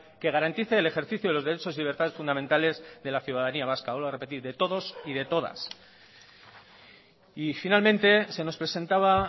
que garantice el ejercicio de los derechos y libertades fundamentales de la ciudadanía vasca vuelvo a repetir de todos y de todas y finamente se nos presentaba